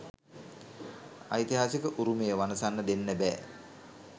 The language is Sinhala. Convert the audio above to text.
ඓතිහාසික උරුමය වනසන්න දෙන්න බෑ.